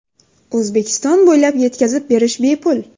O‘zbekiston bo‘ylab yetkazib berish bepul!